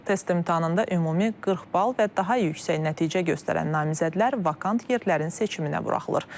Test imtahanında ümumi 40 bal və daha yüksək nəticə göstərən namizədlər vakant yerlərin seçiminə buraxılır.